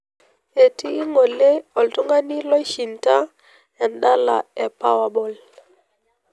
etii ngole oltungani loishinda endala epowerball